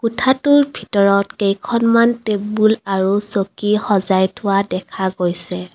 কোঠাটোৰ ভিতৰত কেইখনমান টেবুল আৰু চকী সজাই থোৱা দেখা গৈছে।